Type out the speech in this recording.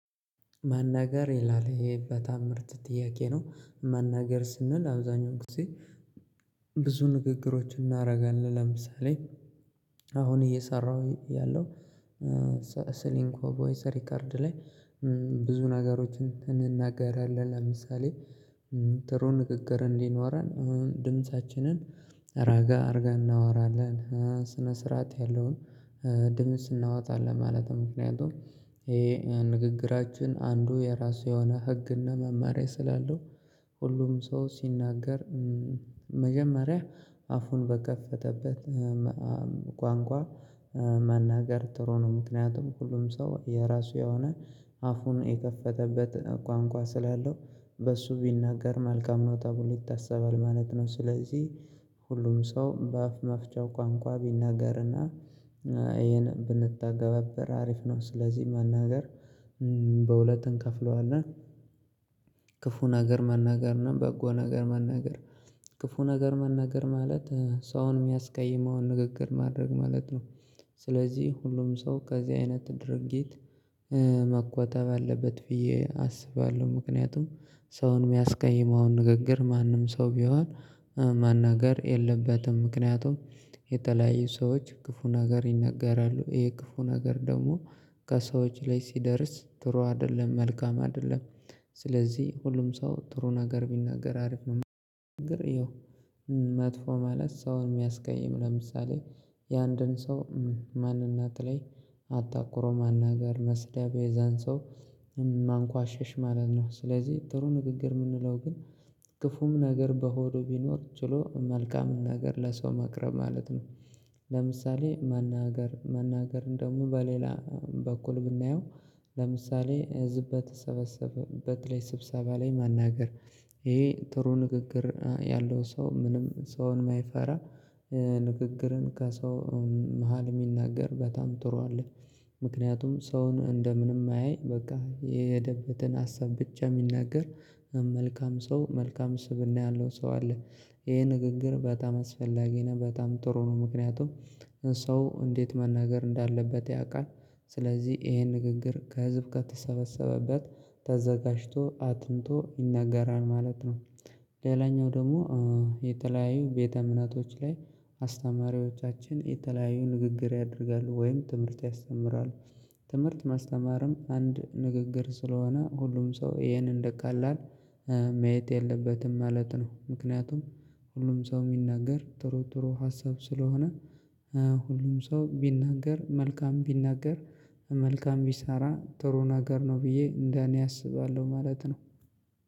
መናገር ይላል በጣም ምርጥ ጥያቄ ነው መናገር ስንል አብዛኛውን ጊዜ። ብዙ ንግግሮችን እናደርጋለን ለምሳሌ። አሁን እየሰራሁ እያለው ስሊንኮ ቮይስ ሪከርድ ላይ። ብዙ ነገሮችን እንናገራለን ለምሳሌ። ጥሩ ንግግር እንዲኖረን ድምፃችንን ረጋ አድርገን እናወራለን ስነ ስርዓት ያለውን ድምጽ እናወጣለን ማለት ነው። ምክንያቱም ይሄ የንግግራችን አንዱ የራሱ የሆነ ህግና መማሪያ ስላለው ሁሉም ሰው ሲናገር። መጀመሪያ አፉን በከፈተበት ቋንቋ መናገር ጥሩ ነው። ምክንያቱም ሁሉም ሰው የራሱ የሆነ አፉን የከፈተበት ቋንቋ ስላለው በሱ ቢናገር መልካም ነው ተብሎ ይታሰባል ማለት ነው። ስለዚህ ሁሉም ሰው በአፍ መፍቻው ቋንቋ ቢናገርና ይሄን ብንተገባበር አሪፍ ነው። ስለዚህ መናገር በሁለት እንከፍለዋለን። ክፉ ነገር መናገር እና በጎ ነገር መናገር ክፉ ነገር መናገር ማለት ሰውን የሚያስቀይመውን ንግግር ማድረግ ማለት ነው። ስለዚህ ሁሉም ሰው ከዚህ አይነት ድርጊት መቆጣብ አለበት ብዬ አስባለሁ። ምክንያቱም ሰውን የሚያስቀይመዉን ንግግር ማንም ሰው ቢሆን መናገር የለበትም። ምክንያቱም የተለያዩ ሰዎች ክፉ ነገር ይናገራሉ ይሄ ክፉ ነገር ደግሞ ከሰዎች ላይ ሲደርስ ጥሩ አይደለም መልካም አይደለም። ስለዚህ ሁሉም ሰው ጥሩ ነገር ቢናገር አሪፍ ነው። ያው መጥፎ ማለት ሰውን የሚያስቀይም ለምሳሌ የአንድን ሰው ማንነት ላይ አተኩሮ መናገር መስደብ የዛን ሰው ማንቋሸሽ ማለት ነው። ስለዚህ ጥሩ ንግግር የምንለው ግን ክፉም ነገር በሆዱ ቢኖር ችሎ መልካምን ነገር ለሰው ማቅረብ ማለት ነው። ለምሳሌ መናገር መናገርን ደግሞ በሌላ በኩል ብናየው ለምሳሌ ህዝብ በተለይ ስብሰባ ላይ መናገር። ይሄ ጥሩ ንግግር ያለው ሰው ምንም ሰውን የማይፈራ ንግግርን ከሰው መሃል የሚናገር በጣም ጥሩ አለ። ምክንያቱም ሰውን እንደምንም አያይ በቃ የሄደበትን ሀሳብ ብቻ የሚናገር መልካም ሰው መልካም ስብእና ያለው ሰው አለ። ይሄ ንግግር በጣም አስፈላጊ ነው በጣም ጥሩ ነው ምክንያቱም ሰው እንዴት መናገር እንዳለበት ያውቃል። ስለዚህ ይሄን ንግግር ከህዝብ ከተሰበሰበበት ተዘጋጅቶ አጥንቶ ይናገራል ማለት ነው። ሌላኛው ደግሞ የተለያዩ ቤተ እምነቶች ላይ አስተማሪዎቻችን የተለያዩ ንግግር ያደርጋሉ ወይም ትምህርት ያስተምራሉ። ትምህርት ማስተማርም አንድ ንግግር ስለሆነ ሁሉም ሰው ይሄንን እንደቀላል ማየት የለበትም ማለት ነው። ምክንያቱም ሁሉም ሰው የሚናገር ጥሩ ጥሩ ሀሳብ ስለሆነ ሁሉም ሰው ቢናገር መልካም ቢናገር መልካም ቢሰራ ጥሩ ነገር ነው ብዬ እንደኔ አስባለሁ ማለት ነው